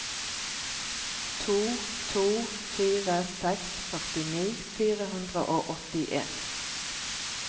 to to fire seks førtini fire hundre og åttien